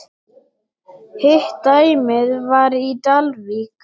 Hitt dæmið var í Dalvík.